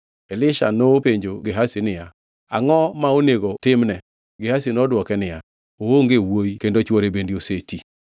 Elisha nopenjo Gehazi niya, “Angʼo ma onego timne?” Gehazi nodwoke niya, “Oonge wuowi kendo chwore bende oseti.”